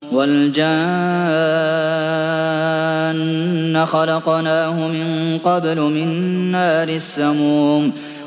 وَالْجَانَّ خَلَقْنَاهُ مِن قَبْلُ مِن نَّارِ السَّمُومِ